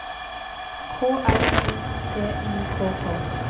K R I T I K K